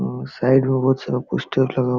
उम्म side में बहुत सारा पोस्टर लगा --